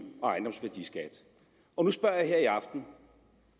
og ejendomsværdiskat og nu spørger jeg her i aften